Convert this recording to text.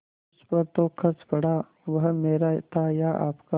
उस पर जो खर्च पड़ा वह मेरा था या आपका